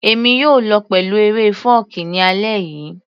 Èmi yóò lọ pẹ̀lú eré fọ́ọ̀kí ní alẹ́ yìí